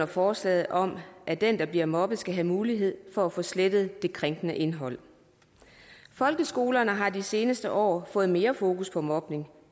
forslaget om at den der bliver mobbet skal have mulighed for at få slettet det krænkende indhold folkeskolerne har de seneste år fået mere fokus på mobning